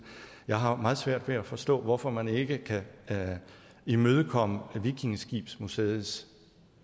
jeg har meget svært ved at forstå hvorfor man ikke kan imødekomme vikingeskibsmuseets